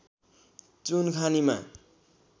चुन खानीमा